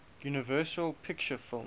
universal pictures films